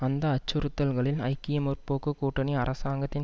அந்த அச்சுறுத்தல்களில் ஐக்கிய முற்போக்கு கூட்டணி அரசாங்கத்தின்